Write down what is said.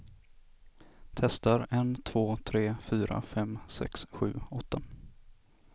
Testar en två tre fyra fem sex sju åtta.